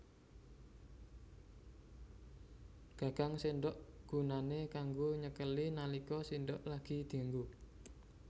Gagang séndhok gunané kanggo nyekeli nalika séndhok lagi dianggo